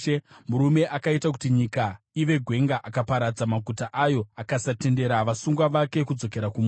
murume akaita kuti nyika ive gwenga, akaparadza maguta ayo, akasatendera vasungwa vake kudzokera kumusha?”